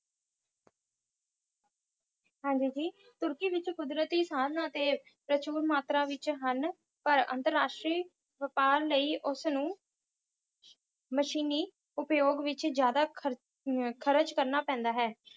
ਹਾਂਜੀ ਜੀ, ਤੁਰਕੀ ਵਿੱਚ ਕੁਦਰਤੀ ਸਾਧਨ ਅਤੇ ਪ੍ਰਚੁਰ ਮਾਤਰਾ ਵਿੱਚ ਹਨ, ਪਰ ਅੰਤਰਰਾਸ਼ਟਰੀ ਵਪਾਰ ਲਈ ਉਸਨੂੰ ਮਸ਼ੀਨੀ ਉਪਯੋਗ ਵਿੱਚ ਜਿਆਦਾ ਖਰ~ ਅਹ ਖ਼ਰਚ ਕਰਨਾ ਪੈਂਦਾ ਹੈ।